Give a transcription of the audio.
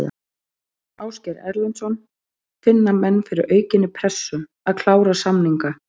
Ásgeir Erlendsson: Finna menn fyrir aukinni pressu, að klára samninga?